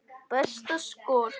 Besta skor, karlar